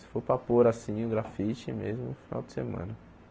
Se for para pôr assim o grafite mesmo, final de semana.